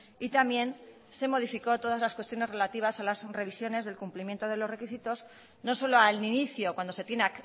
y también se modificó todas las cuestiones relativas a las revisiones del cumplimiento de los requisitos no solo al inicio cuando se tiene